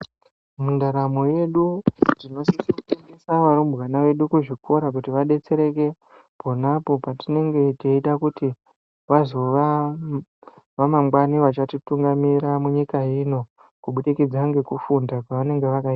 Mundaramo yedu tinosisoendesa varumbwana vedu kuzvikora kuti vadetsereke ponapo patinenge teida kuti vazova vamangwani vachatitungamira munyika ino kubudikidza ngekufunda kwavanenge vakai.